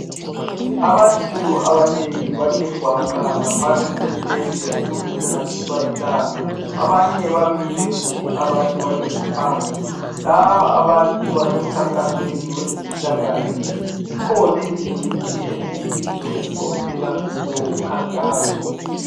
Abantu abanengi bathe gwaqa ngaphansi kwetende ukuze bangatshiswa lilanga , abanye bamile abanye futhi bahlezi phansi , laba abantu basemkhankakasweni wezempilahle , zikhona izingcitshi eziyizo ezikhokhela lumkhankaso